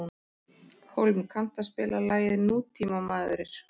Hólm, kanntu að spila lagið „Nútímamaður“?